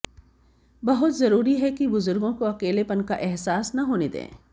बहुत जरूरी है कि बुजुर्गों को अकेलेपन का अहसास न होने दें